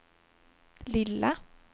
lilla